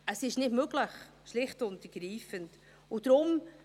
Es ist schlicht und ergreifend nicht möglich.